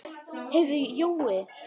Heyrðu Jói.